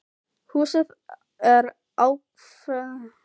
Húsið er ákaflega fallegt og hrífandi í hlýjunni á sumrin.